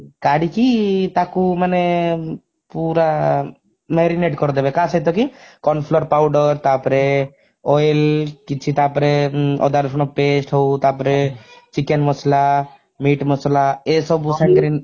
କାଢିକି ତାକୁ ମାନେ ପୁରା marinate କରିଦେବେ କାହା ସହିତ କି corn flour powder ତାପରେ oil କିଛି ତାପରେ ଅଦା ରସୁଣ paste ହଉ ତାପରେ chicken ମସଲା meat ମସଲା ଏଇସବୁ ସାଙ୍ଗରେ